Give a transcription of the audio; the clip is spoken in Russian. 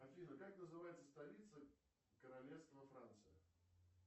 афина как называется столица королевства франции